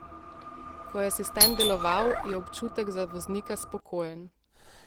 Ko je asistent deloval, je občutek za voznika spokojen.